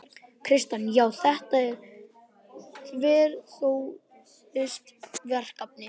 Kjartan: Já, þetta er þverpólitískt verkefni?